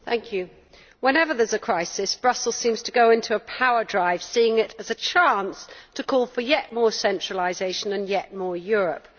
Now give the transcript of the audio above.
Mr President, whenever there is a crisis, Brussels seems to go into a power drive, seeing it as a chance to call for yet more centralisation and yet more Europe.